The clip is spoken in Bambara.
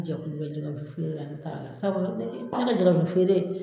Jɛkulu bɛ jɛgɛ wusu feere la ne t'a la sabu ne ka jɛgɛ wusu feere